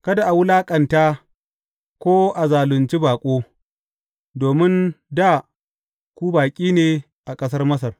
Kada a wulaƙanta, ko a zalunci baƙo, domin dā ku baƙi ne a ƙasar Masar.